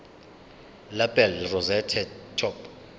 lapel rosette top